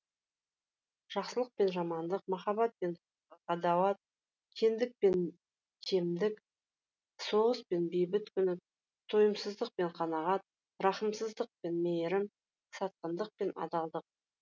жақсылық пен жамандық махаббат пен ғадауат кеңдік пен кемдік соғыс пен бейбіт күні тойымсыздық пен қанағат рақымсыздық пен мейірім сатқындық пен адалдық